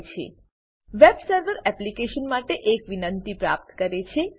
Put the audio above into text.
web server web server application માટે એક વિનંતિ પ્રાપ્ત કરે છે